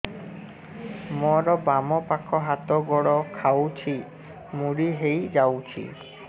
ମୋର ବାମ ପାଖ ହାତ ଗୋଡ ଖାଁଚୁଛି ମୁଡି ହେଇ ଯାଉଛି